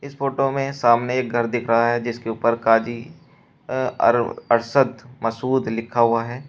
Photo में सामने एक घर दिखाया है जिसके ऊपर काझी अरशद मसूद लिखा हुआ है।